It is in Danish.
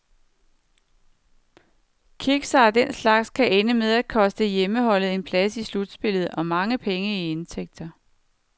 Kiksere af den slags kan ende med at koste hjemmeholdet en plads i slutspillet, og mange penge i indtægter.